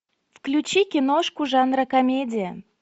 включи киношку жанра комедия